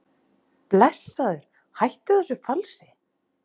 Blessaður hættu þessu falsi!